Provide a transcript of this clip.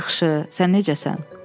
Yaxşı, sən necəsən?